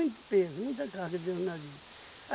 peso, muita carga dentro do navio.